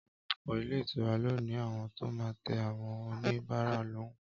Ọpọlọpọ ilé ìtura lóní àwọn tó má tẹ àwọn òní bàrá lòún.